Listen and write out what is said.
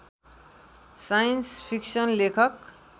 science fiction लेखक